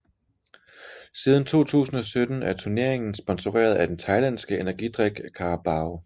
Siden 2017 er turneringen sponseret af den thailandske energidrik Carabao